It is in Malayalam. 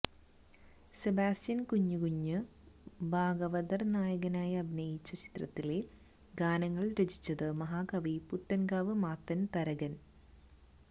സെബാസ്റ്റ്യന് കുഞ്ഞുകുഞ്ഞു ഭാഗവതര് നായകനായി അഭിനയിച്ച ചിത്രത്തിലെ ഗാനങ്ങള് രചിച്ചത് മഹാകവി പുത്തന്കാവ് മാത്തന് തരകന്